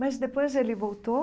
Mas depois ele voltou